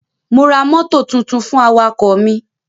Mo ra mọ́tò tuntun fún awakọ̀ mi.